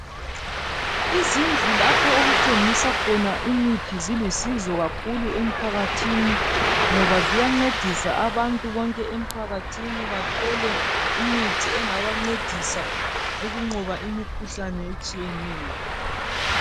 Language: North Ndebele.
Izindlu lapho okuthengiswa khona imithi zilusizo kakhulu emphakathini. Ngoba ziyancedisa abantu bonke emphakathini bathole imithi engabancedisa ukunqoba imikhuhlane etshiyeneyo.